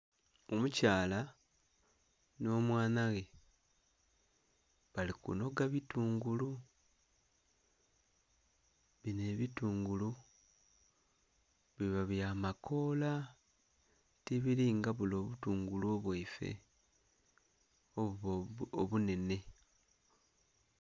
Omukyala n'omwana ghe bali kunhoga bitungulu bino ebitungulu biba byamakoola tibiri nga bule obutungulu obwaife obuba ogunhenhe.